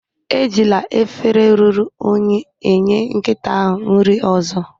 Ejila efere ruru unyi enye nkịta ahụ nri ozo